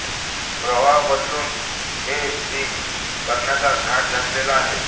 प्रवाह बदलून A C करण्याचा घाट घातलेला आहे